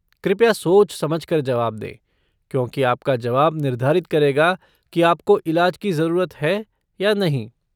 कृपया सोच समझ कर जवाब दें, क्योंकि आपका जवाब निर्धारित करेगा कि आपको इलाज की जरूरत है या नहीं।